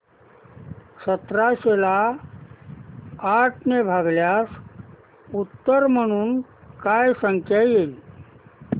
सतराशे ला आठ ने भागल्यास उत्तर म्हणून काय संख्या येईल